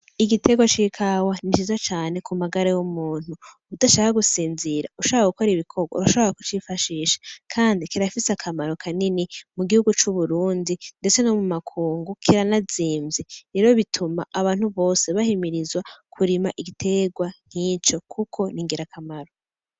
Igiterwa c'ikawa ni ciza cane ku magara y'umuntu. Udashaka gusinzira ushaka gukora ibikorwa urashobora kucifashisha kandi kirafise akamaro kanini mu gihugu c'Uburundi ndetse no mu makungu kiranazimvye ndetse rero bituma abantu bose bahimirizwa kurima igiterwa nkico kuko n'ingirakamaro.